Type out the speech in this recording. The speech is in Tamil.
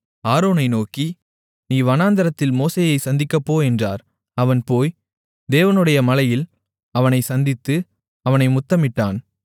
ஆரோனை நோக்கி நீ வனாந்திரத்தில் மோசேயை சந்திக்கப்போ என்றார் அவன் போய் தேவனுடைய மலையில் அவனைச் சந்தித்து அவனை முத்தமிட்டான்